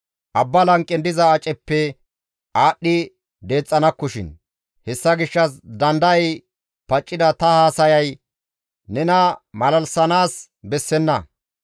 Abba lanqen diza aceppe aadhdhi deexxanakkoshin; hessa gishshas dandayay paccida ta haasayay nena malalisanaas bessenna.